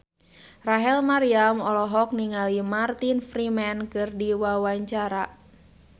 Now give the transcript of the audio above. Rachel Maryam olohok ningali Martin Freeman keur diwawancara